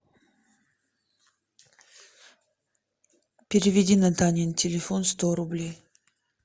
переведи на данин телефон сто рублей